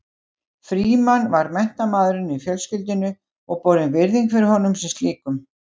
Frímann var menntamaðurinn í fjölskyldunni og borin virðing fyrir honum sem slíkum.